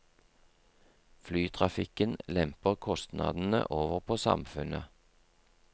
Flytrafikken lemper kostnadene over på samfunnet.